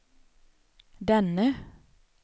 denne